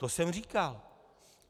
To jsem říkal.